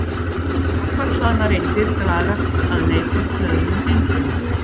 Jákvætt hlaðnar eindir dragast að neikvætt hlöðnum eindum.